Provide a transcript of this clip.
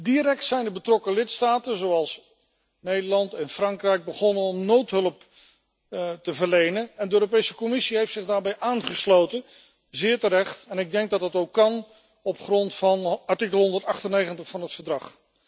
Direct zijn de betrokken lidstaten, Nederland en Frankrijk, begonnen noodhulp te verlenen en de Europese Commissie heeft zich daarbij aangesloten, zeer terecht en ik denk dat het ook kan op grond van artikel 198 van het Verdrag.